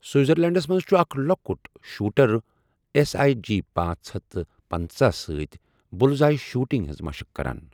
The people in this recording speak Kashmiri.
سِوِٹزَرلینٛڈَس مَنٛز چُھ اَکھ لۄکُٹ شوٗٹَر ایس آیی جی پانژھ ہتھ تہٕ پنژہَ سۭتۍ بُلزآیی شوٗٹِنٛگ ہِنٛز مَشٕق کَران۔